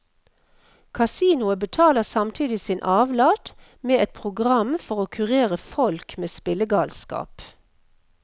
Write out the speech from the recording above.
Kasinoet betaler samtidig sin avlat, med et program for å kurere folk med spillegalskap.